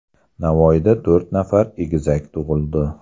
Navoiyda to‘rt nafar egizak tug‘ildi.